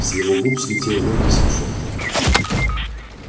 с его губ слетел лёгкий смешок